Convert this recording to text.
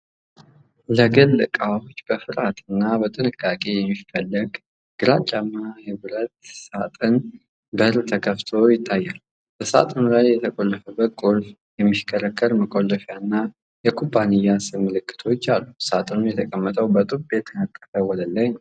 ለግል ዕቃዎች በፍርሃትና በጥንቃቄ የሚፈለግ ግራጫማ ብረት የብረት ሣጥን (Safe) በር ተከፍቶ ይታያል። በሳጥኑ ላይ የተቆለፈበትን ቁልፍ፣ የሚሽከረከር መቆለፊያና የኩባንያ ስም ምልክቶች አሉ፤ ሣጥኑ የተቀመጠው በጡብ የተነጠፈ ወለል ላይ ነው።